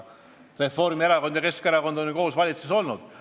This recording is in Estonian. Reformierakond ja Keskerakond on ju koos valitsuses olnud.